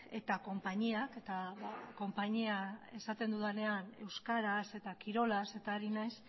eta konpainiak eta konpainia esaten dudanean euskaraz eta kirolaz eta ari naiz